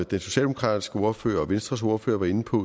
den socialdemokratiske ordfører og venstres ordfører var inde på